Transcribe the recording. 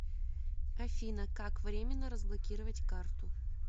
афина как временно разблокировать карту